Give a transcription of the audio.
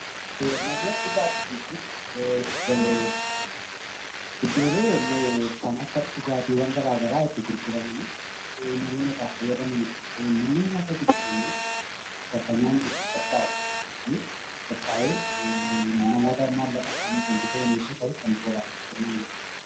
Manneen dhugaatii jechuun iddoolee dhugaatii garagaraa itti gurguramanidha. Manneen nyaata jechuun immoo bakka nyaanni itti qophaa'uu fi itti gurguramudha.